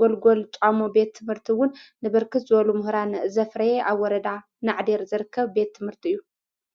ጐልጎል ቛሞ ቤት ትምህርቲውን ንብርክት ዘሉ ምህራን ዘፍረየ ኣብ ወረዳ ናዕዴር ዝርከብ ቤት ትምህርቲ እዩ።